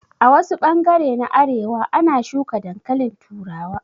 A wasu bangare na arewa a na shuka dankalin turawa